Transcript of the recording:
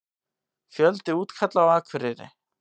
Einþór, hversu margir dagar fram að næsta fríi?